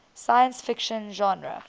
science fiction genre